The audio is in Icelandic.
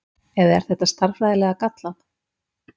eða er þetta stærðfræðilega gallað